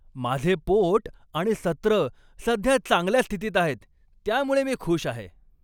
माझे पोट आणि सत्र सध्या चांगल्या स्थितीत आहेत त्यामुळे मी खुश आहे.